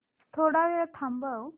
थोडा वेळ थांबव